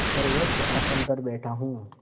सर्वोच्च आसन पर बैठा हूँ